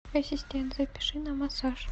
ассистент запиши на массаж